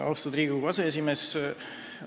Austatud Riigikogu aseesimees!